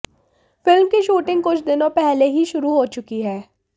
film की shooting कुछ दिनों पहले ही शुरु हो चुकी है